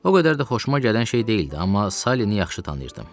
O qədər də xoşuma gələn şey deyildi, amma Salini yaxşı tanıyırdım.